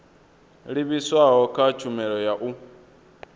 livhiswaho kha tshumelo ya u